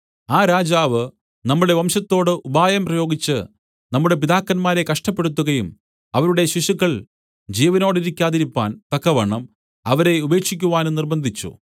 ആ രാജാവ് നമ്മുടെ വംശത്തോട് ഉപായം പ്രയോഗിച്ച് നമ്മുടെ പിതാക്കന്മാരെ കഷ്ടപ്പെടുത്തുകയും അവരുടെ ശിശുക്കൾ ജീവനോടിരിക്കാതിരിപ്പാൻ തക്കവണ്ണം അവരെ ഉപേക്ഷിക്കുവാനും നിര്‍ബ്ബന്ധിച്ചു